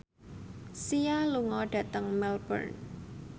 Sia lunga dhateng Melbourne